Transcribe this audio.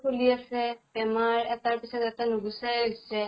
ফুলি আছে, বেমাৰ এটাৰ পিছত এটা নুগুছাই হৈছে।